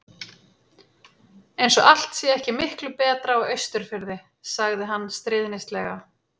Eins og allt sé ekki miklu betra á Austurfirði. sagði hann stríðnislega.